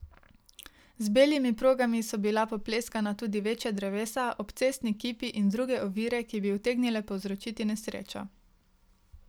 Z belimi progami so bila popleskana tudi večja drevesa, obcestni kipi in druge ovire, ki bi utegnile povzročiti nesrečo.